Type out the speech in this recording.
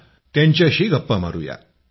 चला त्यांच्याशी गप्पा मारूया